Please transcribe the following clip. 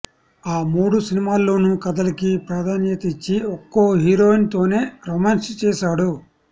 ఆ మూడు సినిమాల్లోనూ కథలకి ప్రాధాన్యత ఇచ్చి ఒక్కో హీరోయిన్ తోనే రోమాన్స్ చేశాడు